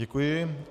Děkuji.